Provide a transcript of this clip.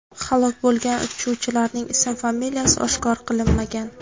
Halok bo‘lgan uchuvchilarning ism-familiyasi oshkor qilinmagan.